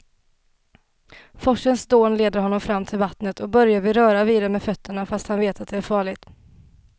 Forsens dån leder honom fram till vattnet och Börje vill röra vid det med fötterna, fast han vet att det är farligt.